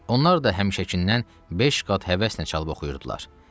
Onlar da həmişəkindən beş qat həvəslə çalıb oxuyurdular.